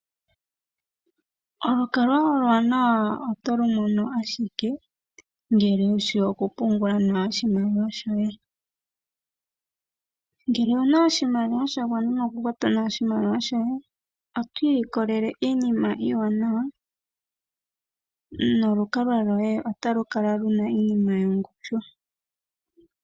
Olukalwa olwaanawa otolu mono ashike ngele wushi okupungula nawa oshimaliwa shoye. Ngele owuna oshimaliwa sha gwana noho kwata nawa oshimaliwa shoye, oto ilikolele iinima iiwanawa nolukalwa loye otalu kala luna iinima yongushu.